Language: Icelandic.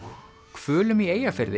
hvölum í Eyjafirði